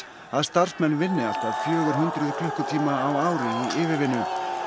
að starfmenn vinni allt að fjögur hundruð klukkutíma á ári í yfirvinnu